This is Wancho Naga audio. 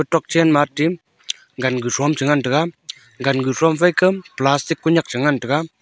tokchenma tim ganguthom chengan taiga ganguthom faika plastic kuynak changan taiga.